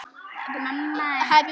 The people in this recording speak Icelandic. Þetta kemur bara í ljós.